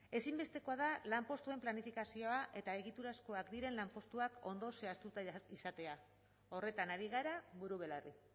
ezinbestekoa da lanpostuen planifikazioa eta egiturazkoak diren lanpostuak ondo zehaztuta izatea horretan ari gara buru belarri